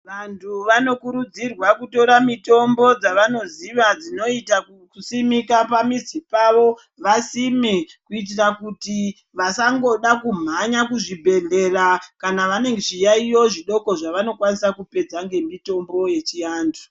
Vantu vanokurudzirwa kutora mitombo dzavanoziva dzinoita kusimika pamizi pavo vasime kuitira kuti vasangoda kumhanya kuzvibhedhlera kana zviyaiyo zvidoko zvavanokwanisa kupedza ngemitombo yechiantu.